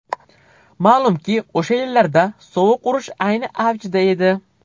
Ma’lumki, o‘sha yillarda sovuq urush ayni avjida edi.